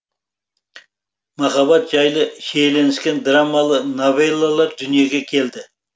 махаббат жайлы шиеленіскен драмалы новеллалар дүниеге келді